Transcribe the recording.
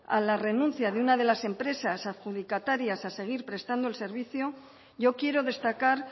a la renuncia de una de las empresas adjudicatarias a seguir prestando el servicio yo quiero destacar